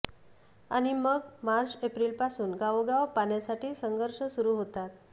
आणि मग मार्च एप्रिलपासून गावोगाव पाण्यासाठी संघर्ष सुरु होतात